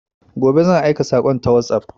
Gobe zan aika sakon ta WhatsApp